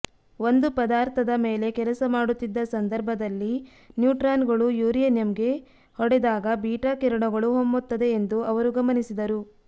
ಒಂದು ಪದಾರ್ಥದ ಮೇಲೆ ಕೆಲಸ ಮಾಡುತ್ತಿದ್ದ ಸಂದರ್ಭದಲ್ಲಿ ನ್ಯೂಟ್ರಾನ್ಗಳು ಯುರೇನಿಯಂಗೆ ಹೊಡೆದಾಗ ಬೀಟಾ ಕಿರಣಗಳು ಹೊಮ್ಮುತ್ತದೆ ಎಂದು ಅವರು ಗಮನಿಸಿದರು